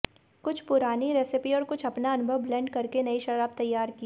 कुछ पुरानी रेसिपी और कुछ अपना अनुभव ब्लेंड करके नई शराब तैयार की